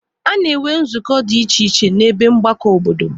A na-enwe nzukọ dị iche iche n'ebe mgbakọ obodo.